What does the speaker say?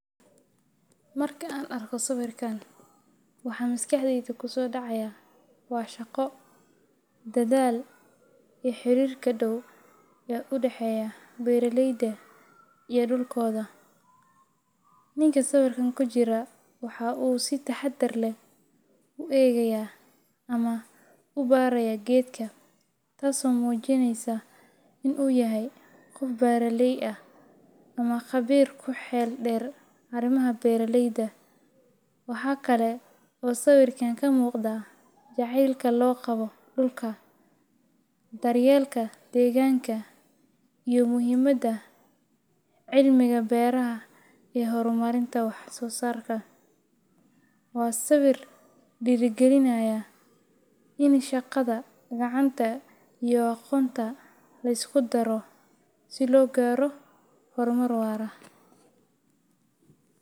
Marka aa arkoh sawerkan waxa masqaxdeyda kusodacaya wa shaqoo dathal oo xarika daw ee u daxeeya beeraleyda iyo dulkotha , ninka meshan kujirah maxa si taxadar leeh u egeya amah oo kugaraya geetka taaso mujineysoh ini yahay qoof beeraley ah amah qabir kuxeeldeer amah arimaha beraleyda waxkali oo sawerkan kamuqdah jaceelka loqaboh dulka daryeelka deganka iyo muhimada celimka beeraha ee wax sosarka wa sawer derikalinaya ini dulkatga iyo ukunta liskudaroh si logaroh hurmar waar aah.